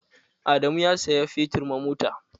Adamu ya saya fetur ma mota.